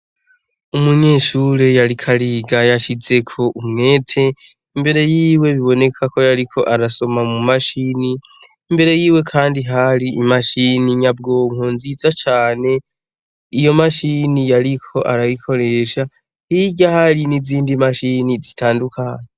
Umunyeshuri yariko ariga yashizeko umwete, imbere yiwe biboneka ko ariko arasoma mu mashine, imbere yiwe kandi hari imashine nyabwonko nziza cane. Iyo mashine yariko arayikoresha, hirya hari n'izindi mashine zitandukanye.